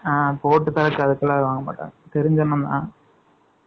ஆ, போட்டு தர்றதுக்கு அதுக்கெல்லாம் வாங்க மாட்டாங்க. தெரிஞ்ச அன்னன் தான்